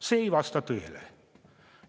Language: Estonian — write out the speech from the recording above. See ei vasta tõele.